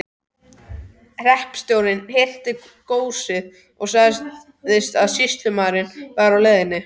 Hreppstjórinn hirti góssið og sagði að sýslumaðurinn væri á leiðinni.